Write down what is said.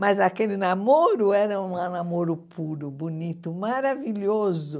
Mas aquele namoro era um namoro puro, bonito, maravilhoso.